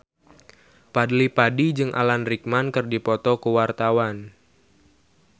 Fadly Padi jeung Alan Rickman keur dipoto ku wartawan